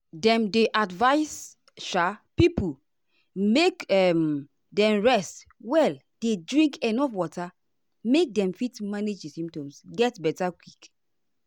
dem dey advise um pipo make um dem rest well dey drink enuf water make dem fit manage di symptoms get beta quick.